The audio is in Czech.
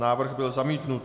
Návrh byl zamítnut.